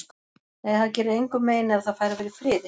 Nei, það gerir engum mein ef það fær að vera í friði.